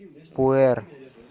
пуэр